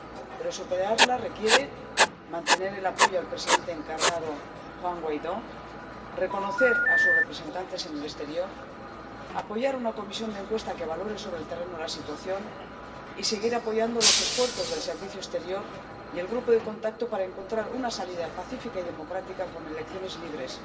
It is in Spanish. Pero superarla requiere mantener el apoyo al presidente encargado, Juan Guaidó, reconocer a sus representantes en el exterior, apoyar una comisión de encuesta que valore sobre el terreno la situación, y seguir apoyando los esfuerzos del Servicio de Acción Exterior y del Grupo de Contacto para encontrar una salida pacífica y democrática con elecciones libres,